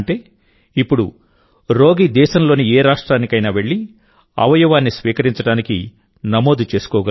ఇప్పుడు రోగి దేశంలోని ఏ రాష్ట్రానికైనా వెళ్లి అవయవాన్ని స్వీకరించడానికి నమోదు చేసుకోగలుగుతారు